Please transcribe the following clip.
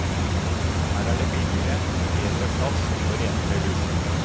Her er det billigere, bedre plass og renere luft.